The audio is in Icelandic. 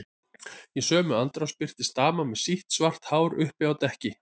Í sömu andrá birtist dama með sítt, svart hár uppi á dekki.